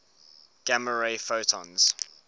gamma ray photons